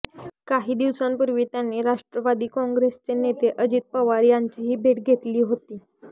काही दिवसांपूर्वी त्यांनी राष्ट्रवादी काँग्रेसचे नेते अजित पवार यांचीही भेट घेतली होती